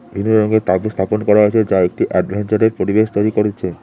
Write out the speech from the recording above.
রঙের তাবু স্থাপন করা হয়েছে যা একটি এডভেঞ্চারের পরিবেশ তৈরি করেছে।